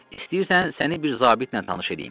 İstəyirsən səni bir zabitlə tanış eləyim.